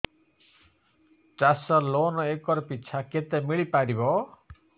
ଚାଷ loan acre ପିଛା କେତେ ମିଳି ପାରିବ